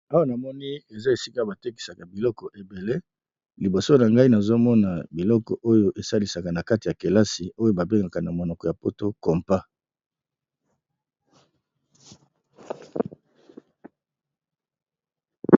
Awa namoni eza esika ba tekisaka biloko ebele, liboso na ngai nazo mona biloko oyo esalisaka na kati ya kelasi oyo ba bengaka na monoko ya poto compat.